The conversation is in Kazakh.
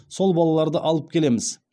сол балаларды алып келеміз